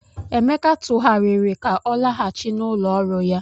Emeka tụgharịrị ka ọ laghachi n'ụlọ ọrụ ya.